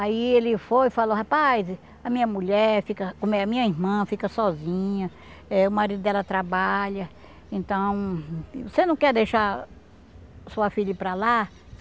Aí ele foi e falou, rapaz, a minha mulher, fica com a minha minha irmã fica sozinha, eh o marido dela trabalha, então, você não quer deixar sua filha ir para lá?